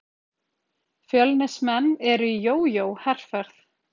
Fjölnismenn eru í jójó-herferð.